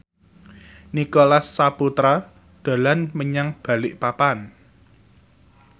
Nicholas Saputra dolan menyang Balikpapan